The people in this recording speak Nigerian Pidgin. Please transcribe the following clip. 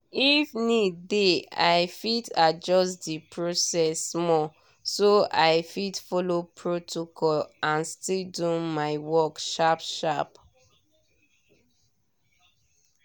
if need dey i fit adjust the process small so i fit follow protocol and still do my work sharp-sharp.